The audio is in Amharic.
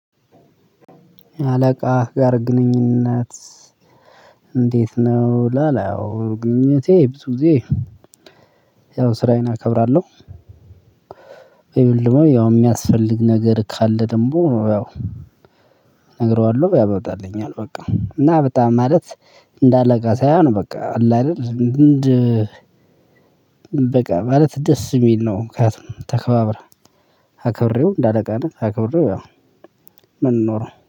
አለቃ ጋር ግንኙነት? እንዴት ነው ላለው ግንኙነቴ ብዙ ጊዜ። ያው ስራዬን አከብራለሁ። ያው የሚያስፈልግ ነገር ካለ ደግሞ ያው እነግረዋለሁ ያበጣልኛል በቃ እና በጣም ማለት እንደ አለቃ ሳይሆን በቃ አለ አይደል። በቃ ማለት ደስ የሚል ነው። ምክንያቱም ተከባብረን። አክብሬው እንደ አለቃ ነት አክብሬው ያው ምንኖረው